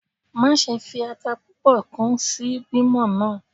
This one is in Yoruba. Maṣe fi ata pupọ kun si bimo naa!